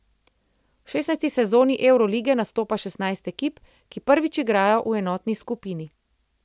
V šestnajsti sezoni evrolige nastopa šestnajst ekip, ki prvič igrajo v enotni skupini.